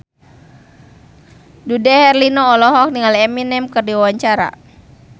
Dude Herlino olohok ningali Eminem keur diwawancara